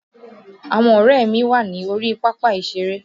Àwọn ọ̀rẹ́ mi wà ní orí pápá ìṣeré